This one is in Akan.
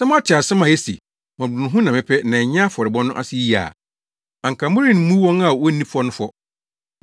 Sɛ moate asɛm a ese, ‘Mmɔborɔhunu na mepɛ na ɛnyɛ afɔrebɔ’ no ase yiye a, anka moremmu wɔn a wonni fɔ no fɔ.